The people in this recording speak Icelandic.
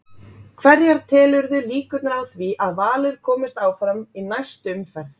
Hverjar telurðu líkurnar á því að Valur komist áfram í næstu umferð?